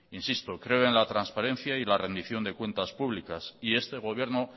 insisto creo en la transparencia y la rendición de cuentas públicas y este gobierno